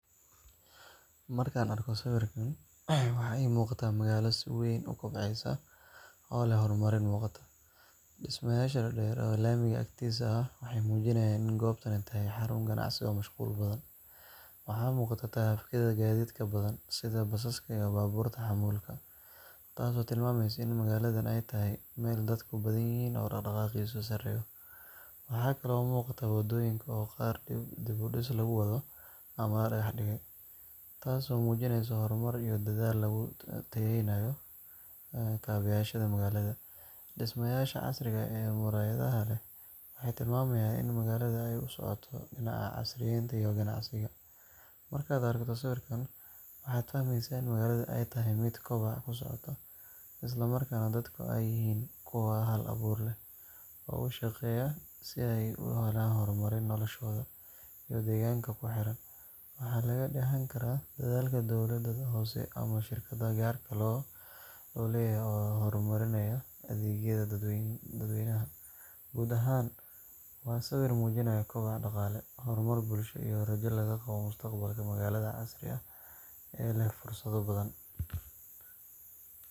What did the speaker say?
Markaan arko sawirkan, waxa iiga muuqda magaalo si weyn u kobceysa oo leh horumarin muuqata. Dhismayaasha dhaadheer ee laamiga agtiisa ah waxay muujinayaan in goobtani tahay xarun ganacsi oo mashquul badan. Waxaa muuqata taraafikada gaadiidka badan sida basaska iyo baabuurta xamuulka, taasoo tilmaamaysa in magaaladaani ay tahay meel dadku ku badan yihiin oo dhaqdhaqaaqiisu sarreeyo. Waxaa kale oo muuqata waddooyinka oo qaar dib u dhis lagu wado ama la dhagax dhigay, taas oo muujinaysa horumar iyo dadaal lagu tayeynayo kaabeyaasha magaalada. Dhismayaasha casriga ah ee muraayadaha leh waxay tilmaamayaan in magaalada ay u socoto dhinaca casriyeynta iyo ganacsiga. Markaad aragto sawirkan, waxaad fahmeysaa in magaalada ay tahay mid koboc ku socota, isla markaana dadku ay yihiin kuwo hal abuur leh, u shaqeeya si ay u horumariyaan noloshooda iyo deegaanka ku xeeran. Waxaa laga dheehan karaa dadaalka dowladda hoose ama shirkadaha gaarka loo leeyahay ee horumarinaya adeegyada dadweynaha. Guud ahaan, waa sawir muujinaya koboc dhaqaale, horumar bulsho, iyo rajo laga qabo mustaqbalka magaalo casri ah oo leh fursado badan.